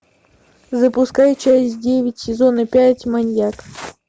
запускай часть девять сезона пять маньяк